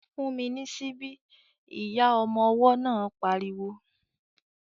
"Fún mi ní síbí!" Ìyá ọmọ ọwọ́ náà pariwo